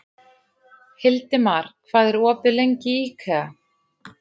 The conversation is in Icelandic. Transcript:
Hildimar, hvað er opið lengi í IKEA?